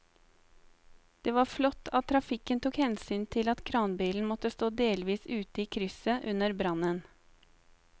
Det var flott at trafikken tok hensyn til at kranbilen måtte stå delvis ute i krysset under brannen.